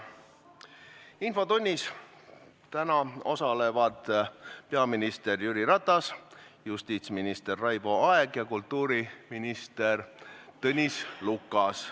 Infotunnis osalevad täna peaminister Jüri Ratas, justiitsminister Raivo Aeg ja kultuuriminister Tõnis Lukas.